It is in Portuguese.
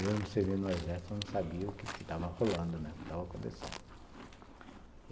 Mesmo servindo no Exército, eu não sabia o que estava rolando, né, o que estava acontecendo.